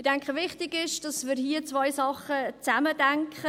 – Ich denke, wichtig ist es, dass wir hier zwei Sachen zusammendenken.